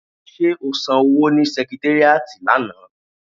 Ṣé o san owó ni sẹkitéríàtì lánàá?